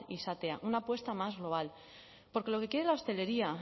izatea una apuesta más global porque lo que quiere la hostelería